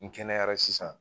N kɛnɛyara sisan